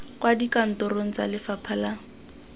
kwa dikantorong tsa lefapha la